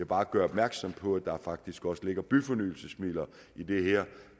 bare gøre opmærksom på at der faktisk også ligger byfornyelsesmidler i det her